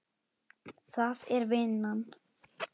Það er vinnan.